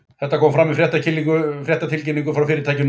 Þetta kom fram í fréttatilkynningu frá fyrirtækinu nú í dag.